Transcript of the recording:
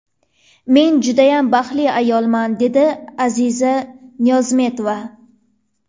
Men judayam baxtli ayolman”, dedi Aziza Niyozmetova.